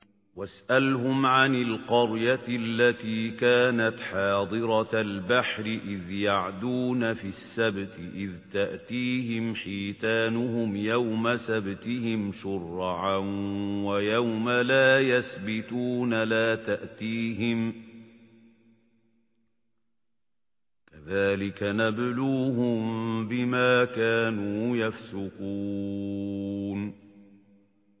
وَاسْأَلْهُمْ عَنِ الْقَرْيَةِ الَّتِي كَانَتْ حَاضِرَةَ الْبَحْرِ إِذْ يَعْدُونَ فِي السَّبْتِ إِذْ تَأْتِيهِمْ حِيتَانُهُمْ يَوْمَ سَبْتِهِمْ شُرَّعًا وَيَوْمَ لَا يَسْبِتُونَ ۙ لَا تَأْتِيهِمْ ۚ كَذَٰلِكَ نَبْلُوهُم بِمَا كَانُوا يَفْسُقُونَ